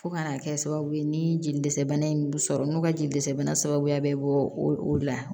Fo ka n'a kɛ sababu ye ni jeli dɛsɛ bana in sɔrɔ n'u ka jelisɛbana sababuya bɛ bɔ o la